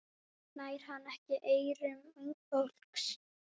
Nær hann ekki eyrum ungs fólks?